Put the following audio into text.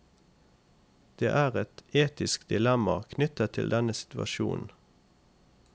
Det er et etisk dilemma knyttet til denne situasjonen.